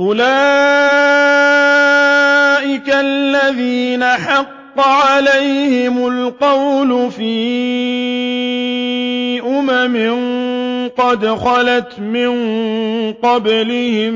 أُولَٰئِكَ الَّذِينَ حَقَّ عَلَيْهِمُ الْقَوْلُ فِي أُمَمٍ قَدْ خَلَتْ مِن قَبْلِهِم